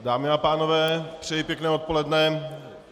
Dámy a pánové, přeji pěkné odpoledne.